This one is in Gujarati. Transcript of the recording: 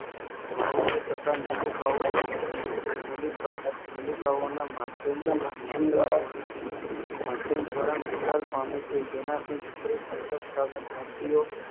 તથા નલિકાઓ નલિકાના માધ્યમ માધ્યમ દ્વારા નિકાલ પામે છે તેનાથી વિપરીત અંતરસ્ત્રાવી ગ્રંથિઓ